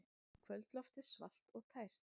Kvöldloftið svalt og tært.